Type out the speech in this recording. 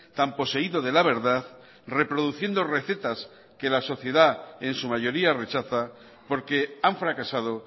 tan poseído de la verdad reproduciendo recetas que la sociedad en su mayoría rechaza porque han fracasado